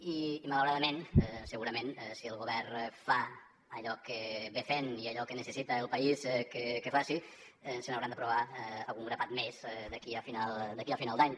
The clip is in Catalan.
i malauradament segurament si el govern fa allò que va fent i allò que necessita el país que faci se n’hauran d’aprovar algun grapat més d’aquí a final d’any